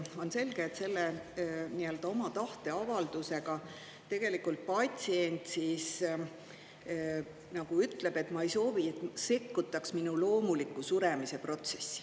On selge, et selle oma tahteavaldusega tegelikult patsient nagu ütleb, et ma ei, et soovi sekkutaks minu loomuliku suremise protsessi.